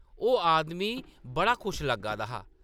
ओह्‌‌ आदमी बड़ा खुश लग्गा दा हा ।